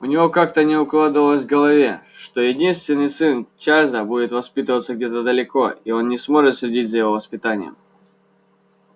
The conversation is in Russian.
у него как-то не укладывалось в голове что единственный сын чарлза будет воспитываться где-то далеко и он не сможет следить за его воспитанием